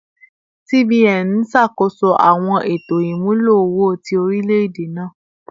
CBN n ṣakoso awọn eto imulo owo ti orilẹ-ede naa